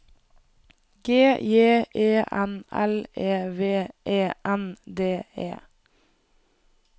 G J E N L E V E N D E